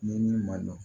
Ni min ma dɔn